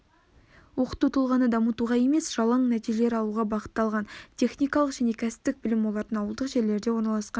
оқыту тұлғаны дамытуға емес жалаң нәтижелер алуға бағытталған техникалық және кәсіптік білім олардың ауылдық жерлерде орналасқан